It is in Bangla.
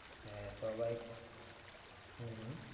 হ্যাঁ সবাই হম হম